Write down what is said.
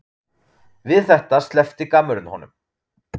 Við þetta sleppti gammurinn honum.